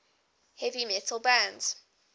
heavy metal bands